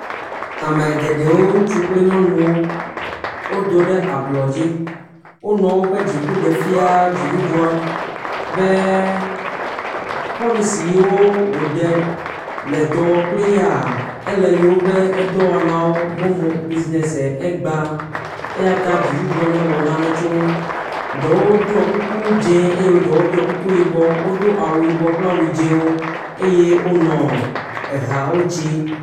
Ame geɖewo ŋutsu kple nyɔnuwo, wodo ɖe ablɔ dzi, wonɔ woƒe dziku ɖe fia dzidudua be polici yewo wo ɖe le dɔ wɔ kple yaa ele yewo ƒe edɔwɔnawo, momo bizinez e egba eyata dzidudua ne wɔna tso wo nu. Ɖewo ɖɔe kuku dz0 eye ɖe ɖɔe kuku yibɔ, wodo awu yibɔ kple awu dz0wo eye wonɔ ehawo dzim.